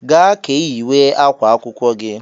"Gaa ka ị yiwe ákwá akwụkwọ gị"